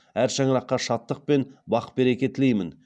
әр шаңыраққа шаттық пен бақ береке тілеймін